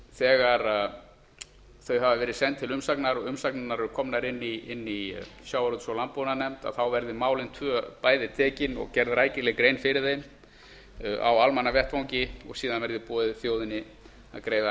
þegar þau hafa verið send til umsagnar og umsagnirnar eru komnar inn í sjávarútvegs og landbúnaðarnefnd á að taka málin bæði tvö og gera rækilega grein fyrir þeim á almannavettvangi og síðan á að bjóða þjóðinni að greiða